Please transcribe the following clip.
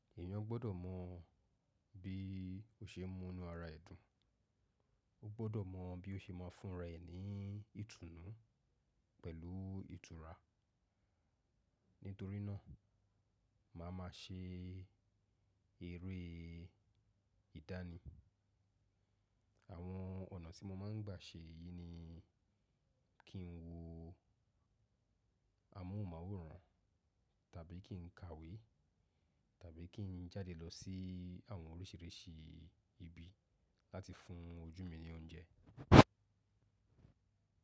Èèyàn gbọ́dọ̀ mọ bí ó ṣe múnú ara ẹ̀ dùn. Ó gbọ́dọ̀ mọ bí ó ṣe máa fúnra ẹ ní ìtùnú pẹ̀lú ìtura. Nítorí náà, màá ma ṣe eré ìdánì. Àwọn ọ̀nà tí mo máa ń gbà ṣe èyí ni kí n wo amóhùnmáwòrán tàbí kí n ka ìwé tàbí kí n jáde lọ sí àwọn oríṣìíríṣìí ibi láti fún ojú mi ní oúnjẹ.